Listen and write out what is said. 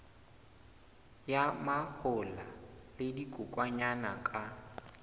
ya mahola le dikokwanyana ka